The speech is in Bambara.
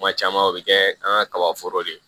Kuma caman o bɛ kɛ an ka kaba foro de ye